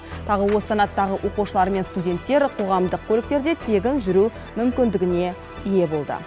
тағы осы санаттағы оқушылар мен студенттер қоғамдық көліктерде тегін жүру мүмкіндігіне ие болды